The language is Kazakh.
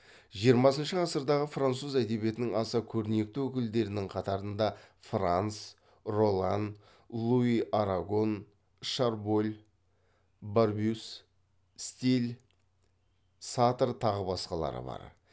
жиырмасыншы ғасырдағы француз әдебиетінің аса көрнекті өкілдерінің қатарында франс роллан луи арагон шарболь барбюс стиль сатр тағы басқалары бар